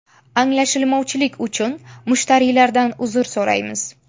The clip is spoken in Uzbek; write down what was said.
Anglashilmovchilik uchun mushtariylardan uzr so‘raymiz.